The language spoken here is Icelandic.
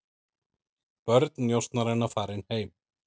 Börn njósnaranna farin heim